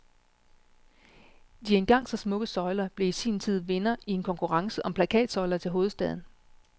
De engang så smukke søjler blev i sin tid vinder i en konkurrence om plakatsøjler til hovedstaden.